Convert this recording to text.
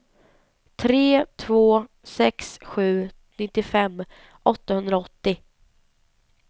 tre två sex sju nittiofem åttahundraåttio